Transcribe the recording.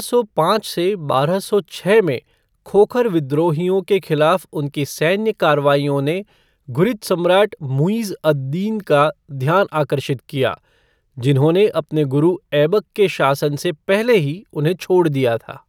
सौ पाँच से बारह सौ छः में खोखर विद्रोहियों के खिलाफ़ उनकी सैन्य कार्रवाइयों ने घुरिद सम्राट मुइज़ अद दीन का ध्यान आकर्षित किया, जिन्होंने अपने गुरु ऐबक के शासन से पहले ही उन्हें छोड़ दिया था।